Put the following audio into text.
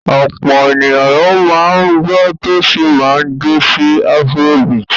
Ọ̀pọ̀ ènìyàn ni ó máa ń gbọ́ tó sì máa ń jó sí afrobeat.